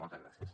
moltes gràcies